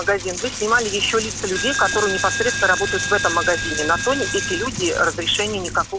магазин вы снимали ещё лица людей которые непосредственно работает в этом магазине на то не эти люди разрешения никакого